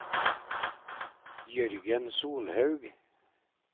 Jørgen Solhaug